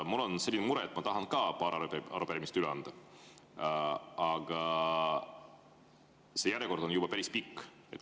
Mul on selline mure, et ma tahan ka paar arupärimist üle anda, aga järjekord on juba päris pikk.